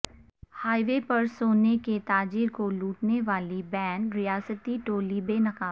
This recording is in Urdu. ہائی وے پر سونے کے تاجر کو لوٹنے والی بین ریاستی ٹولی بے نقاب